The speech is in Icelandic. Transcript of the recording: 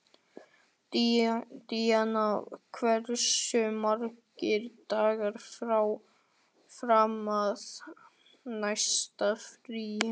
Díanna, hversu margir dagar fram að næsta fríi?